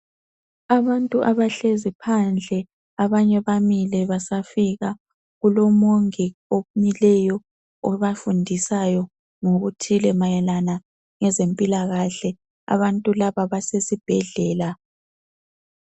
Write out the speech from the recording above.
abantu abahlezi phandle abanye bamile basafika kulo mongi omileyo obafundisayo ngokuthile mayelana ngezempila kahle abantu laba base sibhedlela.